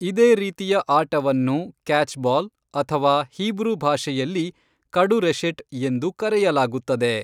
ಇದೇ ರೀತಿಯ ಆಟವನ್ನು ಕ್ಯಾಚ್ಬಾಲ್, ಅಥವಾ ಹೀಬ್ರೂ ಭಾಷೆಯಲ್ಲಿ, ಕಡುರೆಶೆಟ್ ಎಂದು ಕರೆಯಲಾಗುತ್ತದೆ.